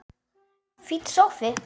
Fínn sófi!